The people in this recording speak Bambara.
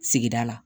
Sigida la